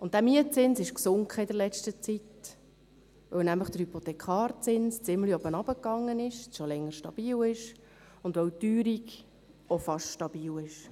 Der Mietzins ist in der letzten Zeit gesunken, weil der Hypothekarzins ziemlich gesunken und seit Längerem stabil ist und weil die Teuerung auch beinahe stabil ist.